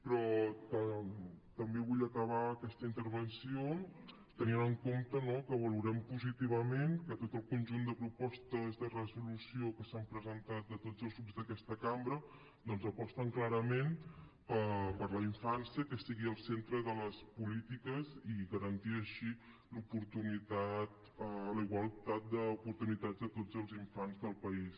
però també vull acabar aquesta intervenció tenint en compte no que valorem positivament que tot el conjunt de propostes de resolució que s’han presentat de tots els grups d’aquesta cambra doncs aposten clarament per la infància que sigui al centre de les polítiques i garantir així la igualtat d’oportunitats de tots els infants del país